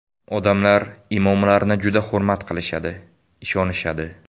Odamlar imomlarni juda hurmat qilishadi, ishonishadi.